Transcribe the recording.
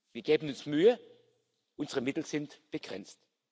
Wir geben uns Mühe, unsere Mittel sind begrenzt.